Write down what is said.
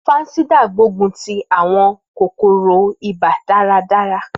Fansidar gbógun ti àwọn kòkòrò ibà dáradára.